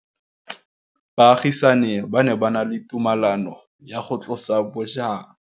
Baagisani ba ne ba na le tumalanô ya go tlosa bojang.